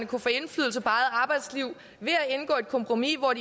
kan få indflydelse på eget arbejdsliv ved at indgå et kompromis hvor